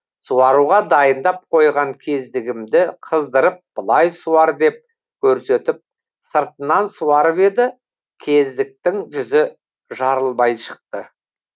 суаруға дайындап қойған кездігімді қыздырып былай суар деп көрсетіп сыртынан суарып еді кездіктің жүзі жарылмай шықты